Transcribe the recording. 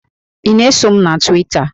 Ị na-eso m na Twita?